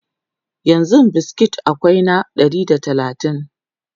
yanzun biskit akwai na naira Ɗari da talatin